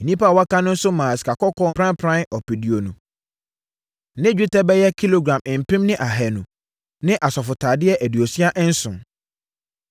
Nnipa a wɔaka no nso maa sikakɔkɔɔ pranpran ɔpeduonu ne dwetɛ bɛyɛ kilogram mpem ne ahanu ne asɔfotadeɛ aduosia nson (67).